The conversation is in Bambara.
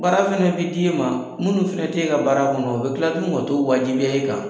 Baara fana bɛ di e ma minnu fana tɛ e ka baara kɔnɔ , o bɛ tila ka t'o wajibiya e kan.